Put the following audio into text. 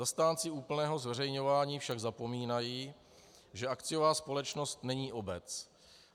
Zastánci úplného zveřejňování však zapomínají, že akciová společnost není obec.